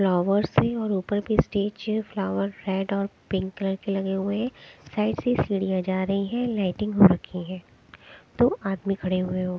flowers है और ऊपर की स्टेज फ्लावर रेड और पिंक कलर के लगे हुए साइड से सीढ़ियां जा रही हैं लाइटिंग हो रखी है दो आदमी खड़े हुए हो--